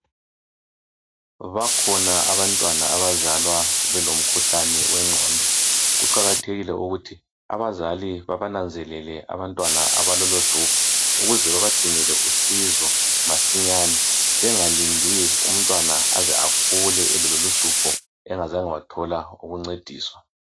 Bakhona abantwana abazalwa belomkhuhlane wengqondo. Kuqakathekile ukuthi abazali babananzelele abantwana abalolo hlupho ukuze babadingele usizo masinyane. Bengalindi umntwana aze akhule elalolohlupho engazange wathola ukuncediswa.